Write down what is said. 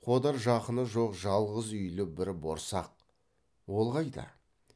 қодар жақыны жоқ жалғыз үйлі бір борсақ ол қайда